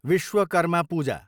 Vishwakarma Puja